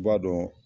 I b'a dɔn